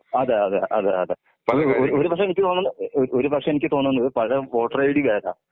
അതെ അതെ അതെ അതെ ഒരു ഒരു പക്ഷെ എനിക്ക് ഒരുപക്ഷേ എനിക്ക് തോന്നുന്നത് പഴേ വോട്ടർ ഐഡി *നോട്ട്‌ ക്ലിയർ*.